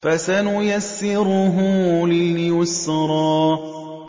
فَسَنُيَسِّرُهُ لِلْيُسْرَىٰ